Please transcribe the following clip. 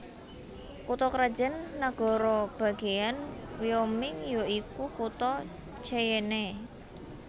Kutha krajan nagara bagéyan Wyoming ya iku kutha Cheyenne